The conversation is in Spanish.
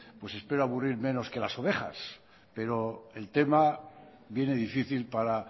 espero aburrir menos que las ovejas pero el tema viene difícil para